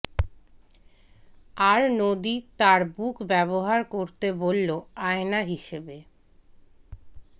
আর নদী তার বুক ব্যবহার করতে বলল আয়না হিসেবে